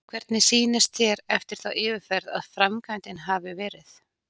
Hvernig sýnist þér eftir þá yfirferð að framkvæmdin hafi verið?